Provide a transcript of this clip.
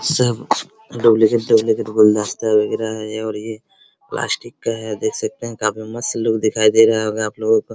सब duplicate - duplicate गुलदस्ता लग रहा ये और ये प्लास्टिक का है देख सकते हैं काफी मस्त लुक दिखाई दे रहा होगा आप लोगो को।